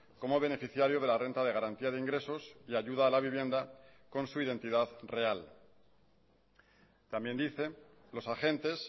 como beneficiario de la renta de garantía de ingresos y ayuda a la vivienda con su identidad real también dice los agentes